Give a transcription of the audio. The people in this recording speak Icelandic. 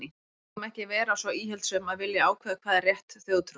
En við megum ekki vera svo íhaldssöm að vilja ákveða hvað er rétt þjóðtrú.